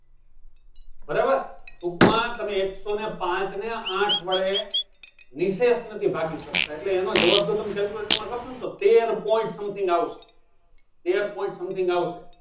બરાબર ટૂંકમાં તમે એકસો ને પાચ ને આઠ વડે નિશેષ નથી ભાગી શકતા એટલે એનો જવાબ તો તમે calculator માં કરશો તો તેર point something આવશે તેર point something આવશે.